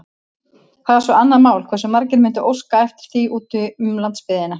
Það er svo annað mál, hversu margir mundu óska eftir því úti um landsbyggðina.